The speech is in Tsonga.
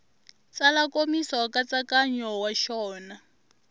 tsala nkomiso nkatsakanyo wa xona